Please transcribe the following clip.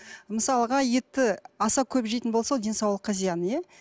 мысалға етті аса көп жейтін болса ол денсаулыққа зиян иә